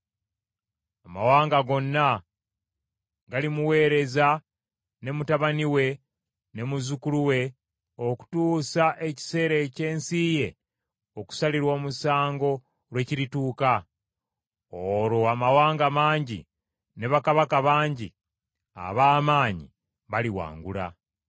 Amawanga gonna galimuweereza ne mutabani we ne muzzukulu we okutuusa ekiseera eky’ensi ye okusalirwa omusango lwe kirituuka; olwo amawanga mangi ne bakabaka bangi ab’amaanyi balimuwangula.